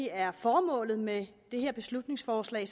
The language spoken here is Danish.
er formålet med det her beslutningsforslag